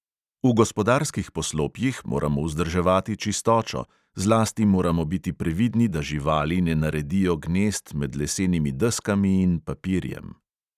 V gospodarskih poslopjih moramo vzdrževati čistočo, zlasti moramo biti previdni, da živali ne naredijo gnezd med lesenimi deskami in papirjem.